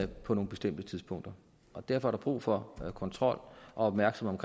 på nogle bestemte tidspunkter og derfor er der brug for kontrol og opmærksomhed